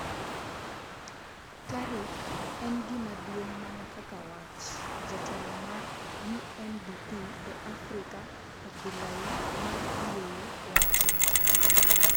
Tarik... en gima duong' mana kaka wach, jatelo mar UNDP e Afrika Abdoulaye Mar Dieye wacho.